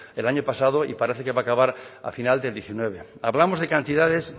el año pasado y parece que va acabar al final del diecinueve hablamos de cantidades